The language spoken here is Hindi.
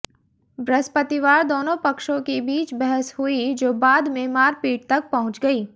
बृहस्पतिवार दोनों पक्षों के बीच बहस हुई जो बाद में मारपीट तक पहुंच गई